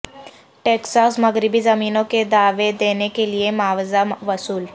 Texas مغربی زمینوں کے دعوی دینے کے لئے معاوضہ وصول